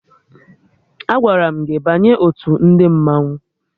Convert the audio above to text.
Agwara m gị banye otu ndị mmanwụ!